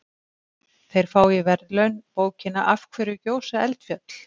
Þeir fá í verðlaun bókina Af hverju gjósa eldfjöll?